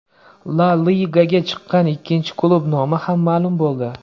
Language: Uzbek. La Ligaga chiqqan ikkinchi klub nomi ham ma’lum bo‘ldi.